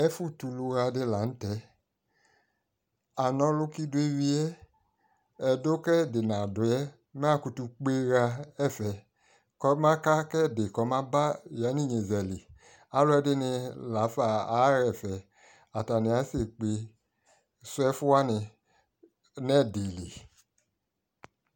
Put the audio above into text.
Ɛfʊ tuludi lanu tɛ ana ɔlʊ kʊ idɔ ewuye ɛdʊ kʊ ɛdɩ nadʊyɛ makutu kpeɣa ɛfɛ ɔmaka kʊ ɛdɩ maba yanʊ ɩnyezali alʊ ɛdɩnɩ lafa aɣaɛfɛ atanɩ asekpe sʊ ɛfʊ wanɩ nʊ ɛdɩlɩ